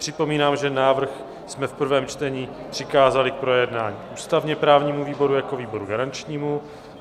Připomínám, že návrh jsme v prvém čtení přikázali k projednání ústavně-právnímu výboru jako výboru garančnímu.